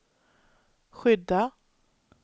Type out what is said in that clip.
skydda